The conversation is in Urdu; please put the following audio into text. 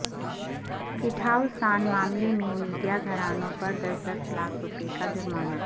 کٹھوعہ سانحہ معاملہ میں میڈیا گھرانوں پر دس دس لاکھ روپے کا جرمانہ